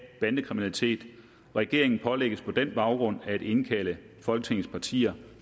bandekriminalitet regeringen pålægges på den baggrund at indkalde folketingets partier